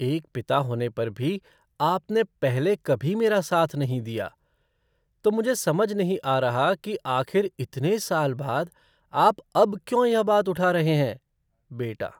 एक पिता होने पर भी आपने पहले कभी मेरा साथ नहीं दिया। तो मुझे समझ नहीं आ रहा कि आखिर इतने साल बाद आप अब क्यों यह बात उठा रहे हैं? बेटा